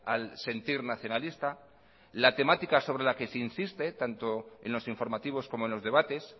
al sentir nacionalista la temática sobre la que se insiste tanto en los informativos como en los debates